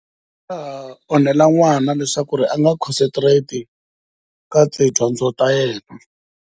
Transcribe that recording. Swi nga ha onhela n'wana leswaku a nga concentrate ka tidyondzo ta yena.